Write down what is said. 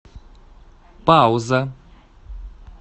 пауза